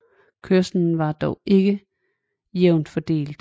Kørslen var dog ikke jævnt fordelt